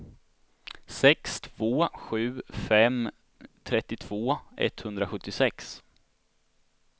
sex två sju fem trettiotvå etthundrasjuttiosex